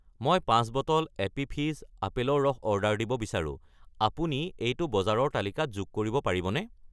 মই 5 bottle Appy Fizz আপেলৰ ৰস অৰ্ডাৰ দিব বিচাৰো, আপুনি এইটো বজাৰৰ তালিকাত যোগ কৰিব পাৰিবনে?